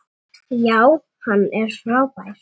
Já, hann er frábær.